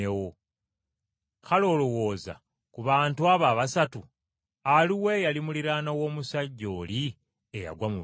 “Kale olowooza, ku bantu abo abasatu aluwa eyali muliraanwa w’omusajja oli eyagwa mu banyazi?”